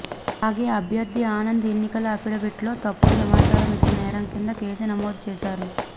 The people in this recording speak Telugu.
అలాగే అభ్యర్థి ఆనంద్ ఎన్నికల అఫిడవిట్లో తప్పుడు సమాచారం ఇచ్చిన నేరం కింద కేసు నమోదు చేశారు